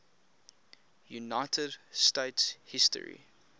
united states history